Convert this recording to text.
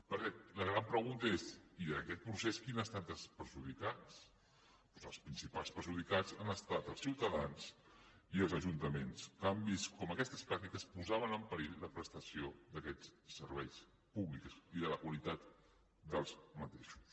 perquè la gran pregunta és i en aquest procés qui han estat els perjudicats doncs els principals perjudicats han estat els ciutadans i els ajuntaments que han vist com aquestes pràctiques posaven en perill la prestació d’aquests serveis públics i la qualitat d’aquests